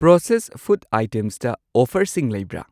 Process food ꯑꯥꯏꯇꯦꯝꯁꯇ ꯑꯣꯐꯔꯁꯤꯡ ꯂꯩꯕ꯭ꯔꯥ?